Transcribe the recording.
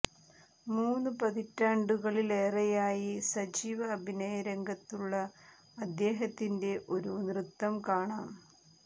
മൂന്നു പതിറ്റാണ്ടുകളിലേറെയായി സജീവ അഭിനയ രംഗത്തുള്ള അദ്ദേഹത്തിന്റെ ഒരു നൃത്തം കാണാം